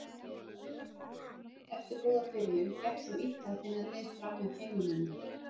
Eftir góða byrjun gekk þeim illa að finna leið framhjá heimamönnum.